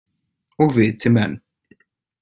Og viti menn.